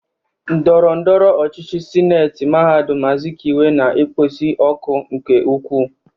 Ndọrọndọrọ ọchịchị sineeti mahadum Azikiwe na-ekpozi ọkụ nke ukwuu.